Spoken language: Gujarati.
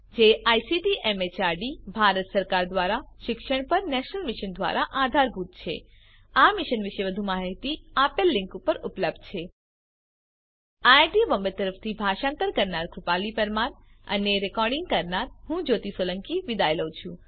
જે આઇસીટી એમએચઆરડી ભારત સરકાર દ્વારા શિક્ષણ પર નેશનલ મિશન દ્વારા આધારભૂત છે આ મિશન વિશે વધુ માહીતી આ લીંક ઉપર ઉપલબ્ધ છે spoken hyphen tutorial dot org slash NMEICT hyphen intro IIT Bombay તરફથી ભાષાંતર કરનાર હું કૃપાલી પરમાર વિદાય લઉં છું